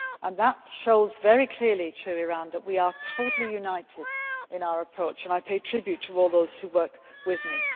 me and that shows very clearly to Iran that we are totally united in our approach, and I pay tribute to all those who work with